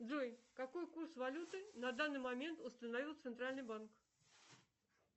джой какой курс валюты на данный момент установил центральный банк